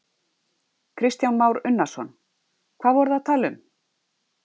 Kristján Már Unnarsson: Hvað voru þið að tala um?